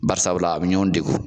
Bari sabula a bɛ ɲɔgɔn degun